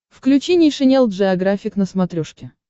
включи нейшенел джеографик на смотрешке